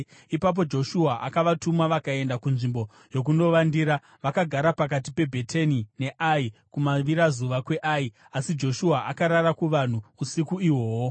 Ipapo Joshua akavatuma, vakaenda kunzvimbo yokunovandira vakagara pakati peBheteni neAi, kumavirazuva kweAi, asi Joshua akarara kuvanhu usiku ihwohwo.